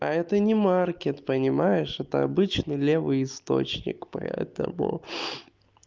а это не маркет понимаешь это обычно левый источник поэтому